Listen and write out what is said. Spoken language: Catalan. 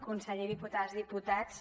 conseller diputades i diputats